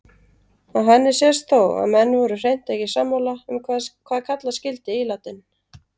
Af henni sést þó að menn voru hreint ekki sammála um hvað kalla skyldi ílátin.